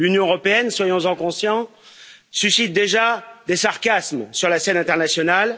L'Union européenne, soyons en conscients, suscite déjà des sarcasmes sur la scène internationale.